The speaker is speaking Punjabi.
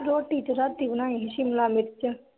ਰੋਟੀ ਚ ਰਾਤੀ ਬਣਾਈ ਹੀ ਸ਼ਿਮਲਾ ਮਿਰਚ